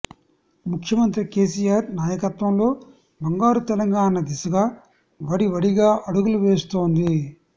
ముఖ్యమంత్రి కేసీఆర్ నాయకత్వంలో బంగారు తెలంగాణ దిశగా వడివడిగా అడుగులు వేస్తోంది